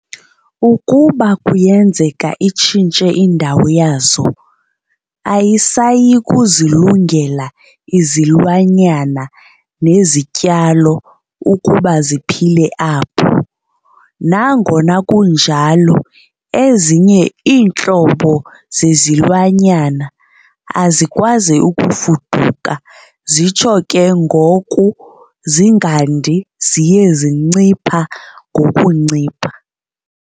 Ukuba kuyenzeka itshintshe indawo yazo, ayisayikuzilungela izilwamyana nezityalo ukuba ziphile apho. Nangona kunjalo, ezinye iintlobo zezilwanyana azikwazi ukufuduka zitsho ke ngoku zingandi ziye zincipha ngokuncipha.